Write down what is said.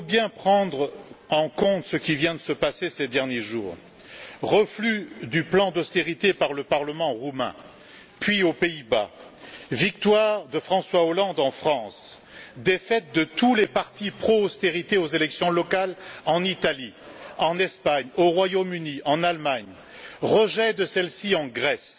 Il faut bien prendre en compte ce qui vient de se passer ces derniers jours refus du plan d'austérité par le parlement roumain puis aux Pays Bas, victoire de François Hollande en France, défaite de tous les partis pro austérité aux élections locales en Italie, en Espagne, au Royaume Uni et en Allemagne et enfin, rejet de celle ci en Grèce.